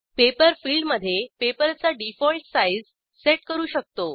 paper फिल्डमधे पेपरचा default size set करू शकतो